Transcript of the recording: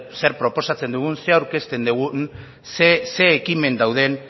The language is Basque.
zer proposatzen dugun zer aurkezten dugun zein ekimen dauden